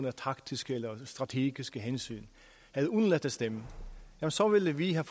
af taktiske eller strategiske hensyn havde undladt at stemme så ville vi have